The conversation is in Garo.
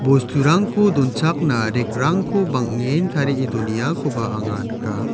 bosturangko donchakna rek rangko bang·en tarie doneakoba anga nika.